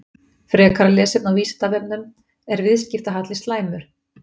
Frekara lesefni á Vísindavefnum: Er viðskiptahalli slæmur?